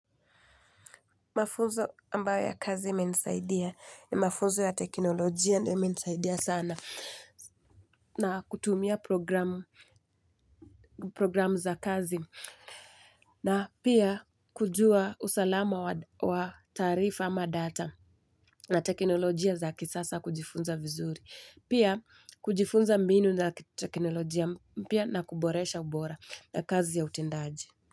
Mafunzo ambayo ya kazi imenisaidia ni mafunzo ya teknolojia na imenisaidia sana na kutumia programu za kazi. Na pia kujua usalama wa taarifa ama data na teknolojia za kisasa kujifunza vizuri. Pia kujifunza mbinu na teknolojia mpya na kuboresha ubora na kazi ya utendaji.